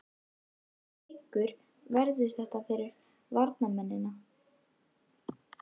Hvernig leikur verður þetta fyrir varnarmennina?